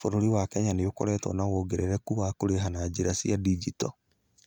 Bũrũri wa Kenya nĩ ũkoretwo na wongerereku wa kũrĩha na njĩra cia digito.